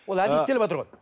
ол әдейі істеліватыр ғой